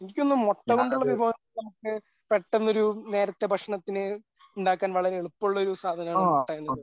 എനിക്കു തോന്നുന്നു മുട്ടകൊണ്ടുള്ള വിഭവങ്ങളാണ് നമുക്ക് പെട്ടെന്നൊരു നേരത്തെ ഭക്ഷണത്തിന് ഉണ്ടാക്കാൻ വളരെ എളുപ്പമുള്ളൊരു സാധനമാണ് മുട്ട എന്നത്.